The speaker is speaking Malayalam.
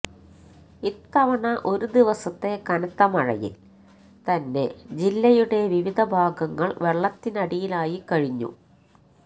ഇത്തവണ ഒരു ദിവസത്തെ കനത്ത മഴയില് തന്നെ ജില്ലയുടെ വിവിധ ഭാഗങ്ങള് വെള്ളത്തിനടിയിലായിക്കഴിഞ്ഞു